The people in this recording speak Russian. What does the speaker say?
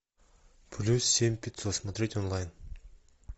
плюс семь пятьсот смотреть онлайн